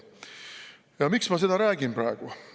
Ja miks ma seda räägin praegu?